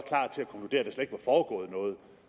foregået noget